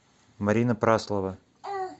марина праслова